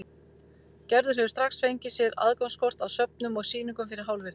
Gerður hefur strax fengið sér aðgangskort að söfnum og sýningum fyrir hálfvirði.